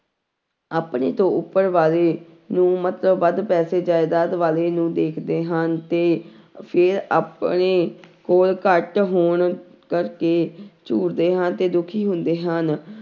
ਆਪਣੇ ਤੋਂ ਉੱਪਰ ਵਾਲੇ ਨੂੰ ਮਤਲਬ ਵੱਧ ਪੈਸੇ ਜ਼ਾਇਦਾਦ ਵਾਲੇ ਨੂੰ ਦੇਖਦੇ ਹਾਂ ਤੇ ਫਿਰ ਆਪਣੇ ਕੋਲ ਘੱਟ ਹੋਣ ਕਰਕੇ ਝੂਰਦੇ ਹਾਂ ਤੇ ਦੁੱਖੀ ਹੁੰਦੇ ਹਨ।